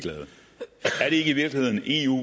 eu